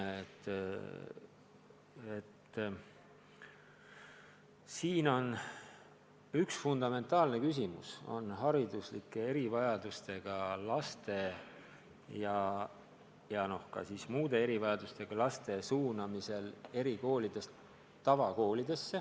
Tegu on fundamentaalse küsimusega, mis puudutab hariduslike erivajadustega laste ja ka muude erivajadustega laste suunamist erikoolist tavakooli.